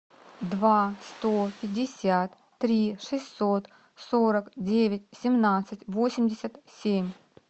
два сто пятьдесят три шестьсот сорок девять семнадцать восемьдесят семь